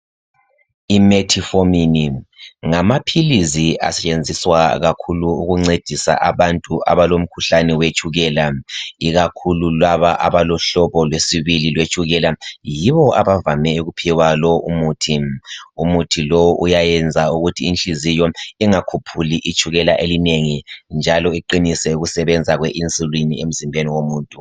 Imetformin ngamaphilisi ancedisa kakhulu abantu labo abalomkhuhlane wetshukela, ikakhulu laba abalohlobo lwesibili lwetshukela. Yibo abavame ukuphiwa lowu umuthi. Umuthi lowu uvame ukuthi uyayenza inhliziyo ingakhuphuli itshukela elinengi njalo iqinise ukusebenza kwe insulin emzimbeni womuntu.